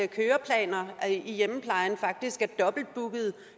køreplaner i hjemmeplejen faktisk